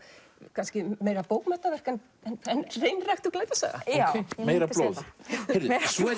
kannski meira bókmenntaverk en hreinræktuð glæpasaga meira blóð heyrðu